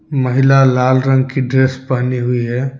महिला लाल रंग की ड्रेस पहनी हुई है।